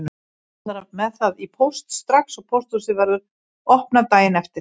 Hann ætlar með það í póst strax og pósthúsið verður opnað daginn eftir.